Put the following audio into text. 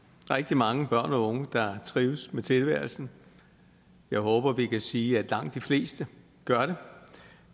rigtig mange børn og unge der trives med tilværelsen jeg håber vi kan sige at langt de fleste gør det